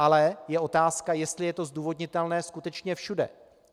Ale je otázka, jestli je to zdůvodnitelné skutečně všude.